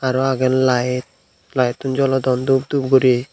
aro age light lighttun jolodon dhup dhup guri.